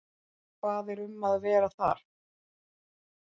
Hvað er um að vera þar?